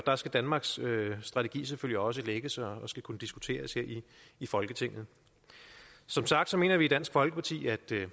der skal danmarks strategi selvfølgelig også lægges og skal kunne diskuteres her i folketinget som sagt mener vi i dansk folkeparti